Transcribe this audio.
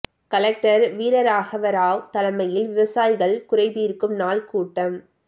collector வீரராகவராவ் தலைமையில் விவசாயிகள் குறைதீர்க்கும் நாள் கூட்டம்